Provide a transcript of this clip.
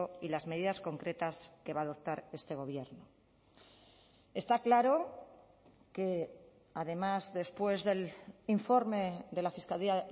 y las medidas concretas que va a adoptar este gobierno está claro que además después del informe de la fiscalía